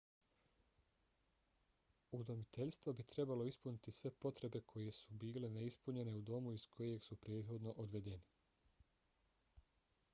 udomiteljstvo bi trebalo ispuniti sve potrebe koje su bile neispunjene u domu iz kojeg su prethodno odvedeni